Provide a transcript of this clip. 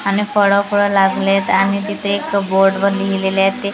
आणि फळं फुळ लागलेत आणि तिथे एक बोर्डवर लिहिलेले आहे ते--